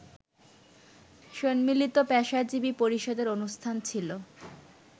সম্মিলিত পেশাজীবী পরিষদের অনুষ্ঠান ছিল